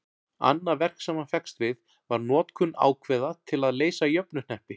annað verk sem hann fékkst við var notkun ákveða til að leysa jöfnuhneppi